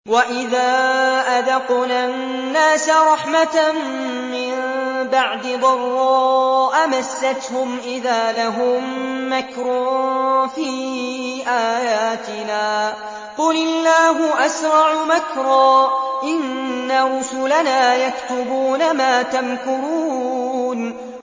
وَإِذَا أَذَقْنَا النَّاسَ رَحْمَةً مِّن بَعْدِ ضَرَّاءَ مَسَّتْهُمْ إِذَا لَهُم مَّكْرٌ فِي آيَاتِنَا ۚ قُلِ اللَّهُ أَسْرَعُ مَكْرًا ۚ إِنَّ رُسُلَنَا يَكْتُبُونَ مَا تَمْكُرُونَ